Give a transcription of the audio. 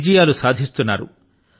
విజయాలు సాధిస్తున్నారు